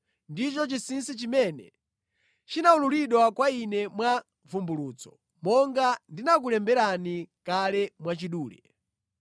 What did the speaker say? ndicho chinsinsi chimene chinawululidwa kwa ine mwa vumbulutso, monga ndinakulemberani kale mwachidule.